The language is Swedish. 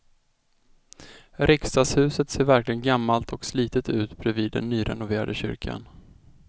Riksdagshuset ser verkligen gammalt och slitet ut bredvid den nyrenoverade kyrkan.